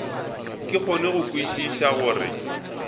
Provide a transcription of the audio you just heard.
ke kgone go kwešiša gore